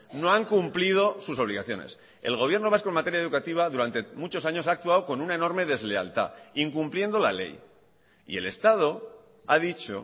no han cumplido sus obligaciones el gobierno vasco en materia educativa durante muchos años ha actuado con una enorme deslealtad incumpliendo la ley y el estado ha dicho